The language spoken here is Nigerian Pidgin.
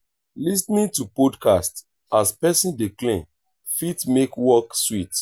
lis ten ing to podcast as person dey clean fit make work sweet